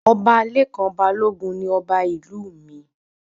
Ọba Lekan Balogun ní ọba ìlú mí